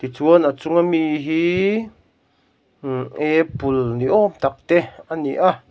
tichuan a chung ami hiiii umh apple ni awm tak te a ni a.